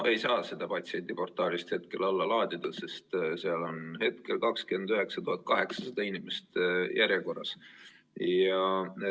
No ei saa seda patsiendiportaalist hetkel alla laadida, sest seal on hetkel 29 800 inimest järjekorras.